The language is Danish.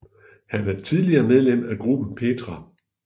Han er tidligere medlem af gruppen Petra